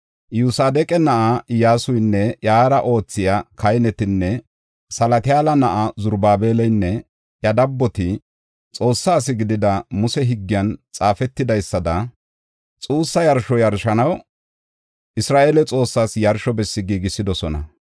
Iyosadeqa na7aa Iyyasunne iyara oothiya kahineti, Salatiyaala na7aa Zarubaabelinne iya dabboti Xoossaa asi gidida Muse higgiyan xaafetidaysada xuussa yarsho yarshanaw, Isra7eele Xoossaas yarsho bessi giigisidosona.